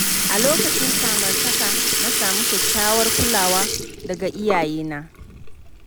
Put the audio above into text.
A lokacin samartaka, na samu kyakkyawar kulawa daga iyaye na.